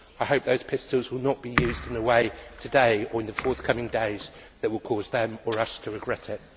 I hope those pistols will not be used in a way today or in the forthcoming days that will cause them or us to regret it.